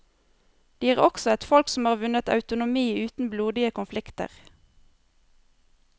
De er også et folk som har vunnet autonomi uten blodige konflikter.